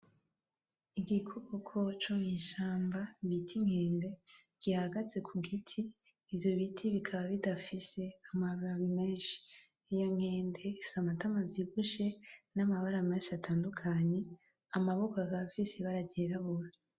Igikoko co mwishamba bita inkende gihagaze kugiti, ivyo biti bikaba bidafise amababi menshi iyo nkende ifise amatama avyibushe n'amabara menshi atandukanye amaboko akaba afise ibara ryirabura.